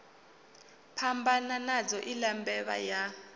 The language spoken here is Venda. phambana nadzo iḽa mbevha ya